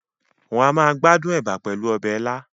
Wọ́n a máa gbádùn ẹ̀bà pẹ̀lú ọbẹ̀ ilá